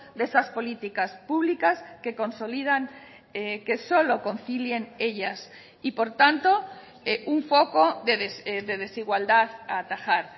de esas políticas públicas que consolidan que solo concilien ellas y por tanto un foco de desigualdad a atajar